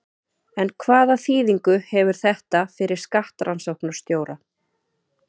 En hvaða þýðingu hefur þetta fyrir skattrannsóknarstjóra?